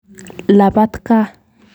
Lapat kaa.